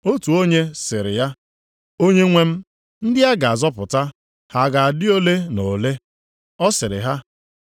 Otu onye sịrị ya, “Onyenwe m, ndị a ga-azọpụta ha ga-adị ole na ole?” Ọ sịrị ha,